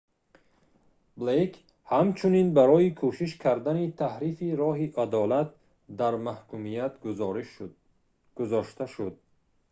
блейк ҳамчунин барои кӯшиш кардани таҳрифи роҳи адолат дар маҳкумият гузошта шуд